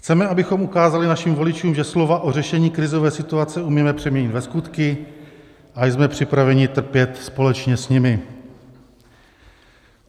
Chceme, abychom ukázali našim voličům, že slova o řešení krizové situace umíme přeměnit ve skutky, a jsme připraveni trpět společně s nimi.